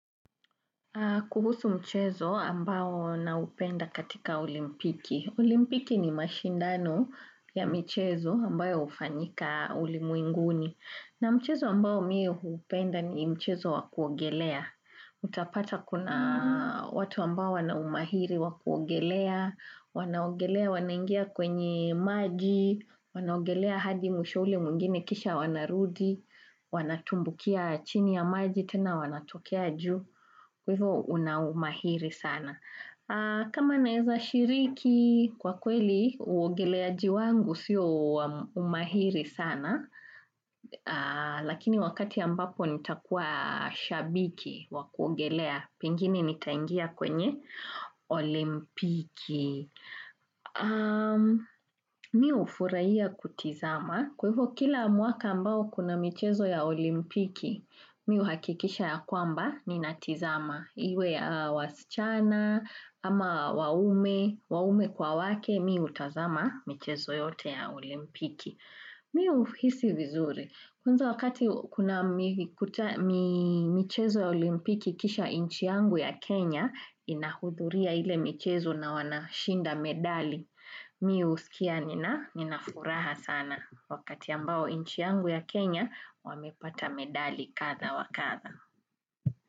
Kuhusu mchezo ambao naupenda katika olimpiki. Olimpiki ni mashindano ya michezo ambayo hufanyika ulimwenguni. Na mchezo ambao mie hupenda ni mchezo wa kuogelea. Utapata kuna watu ambao wana umahiri wa kuogelea, wanaogelea wanaingia kwenye maji, wanaogelea hadi mwisho ule mwingine kisha wanarudi, wanatumbukia chini ya maji tena wanatokea juu. Kwa hivyo una umahiri sana. Kama naweza shiriki kwa kweli, uogeleaji wangu sio umahiri sana, lakini wakati ambapo nitakuwa shabiki wa kuogelea, pengine nitangia kwenye olimpiki. Mi hufurahia kutizama kwa hivyo kila mwaka ambao kuna michezo ya olimpiki Mi huhakikisha ya kwamba ninatizama iwe ya wasichana ama waume kwa wake mi hutazama michezo yote ya olimpiki Mi huhisi vizuri Kwanza wakati kuna michezo ya olimpiki kisha nchi yangu ya Kenya inahudhuria ile michezo na wanashinda medali mi husikia nina furaha sana wakati ambao nchi yangu ya Kenya wamepata medali kadha wa kadha.